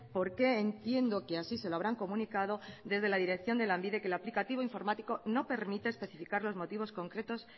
porque entiendo que así se lo habrán comunicado desde la dirección de lanbide que lo aplicativo informático no permite especificar los motivos concretos